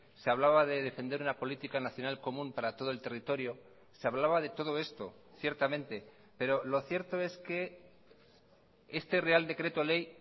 se hablaba de defender una política nacional común para todo el territorio se hablaba de todo esto ciertamente pero lo cierto es que este real decreto ley